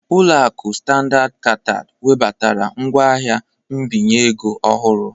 Ulo aku Standard Chartered webatara ngwaahịa mbinye ego ọhụrụ